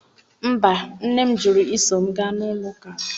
Mba, nne m jụrụ iso m gaa n'ụlọ ụka m.